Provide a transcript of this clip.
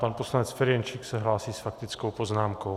Pan poslanec Ferjenčík se hlásí s faktickou poznámkou.